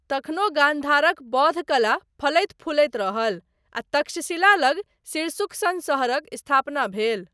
तखनो गान्धारक बौद्ध कला फलैत फूलैत रहल, आ तक्षशिला लग सिरसुख सन शहरक स्थापना भेल।